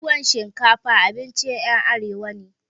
Tuwan shinkafa abincin ƴan arewa ne